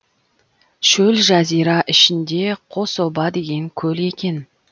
шөл жазира ішінде қособа деген көл екен